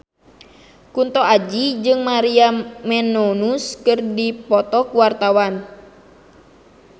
Kunto Aji jeung Maria Menounos keur dipoto ku wartawan